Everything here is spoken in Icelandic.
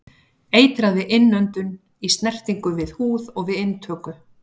Eitrað við innöndun, í snertingu við húð og við inntöku.